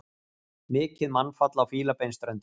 Mikið mannfall á Fílabeinsströndinni